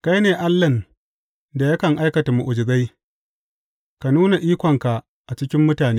Kai ne Allahn da yakan aikata mu’ujizai; ka nuna ikonka a cikin mutane.